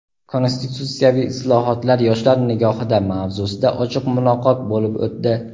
"Konstitutsiyaviy islohotlar yoshlar nigohida" mavzusida ochiq muloqot bo‘lib o‘tdi.